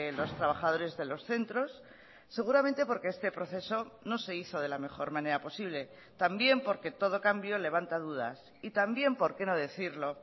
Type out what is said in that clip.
los trabajadores de los centros seguramente porque este proceso no se hizo de la mejor manera posible también porque todo cambio levanta dudas y también por qué no decirlo